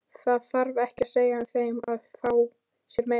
Það þarf ekki að segja þeim að fá sér meira.